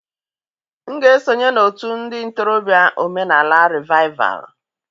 M ga-esonye n'otu ndị ntorobịa omenala rịvaịval